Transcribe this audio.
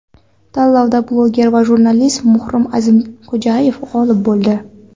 Tanlovda blogger va jurnalist Muhrim A’zamxo‘jayev g‘olib bo‘ldi.